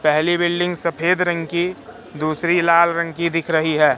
पहली बिल्डिंग सफेद रंग की दूसरी लाल रंग की दिख रही है।